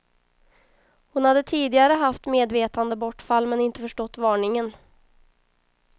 Hon hade tidigare haft medvetandebortfall, men inte förstått varningen.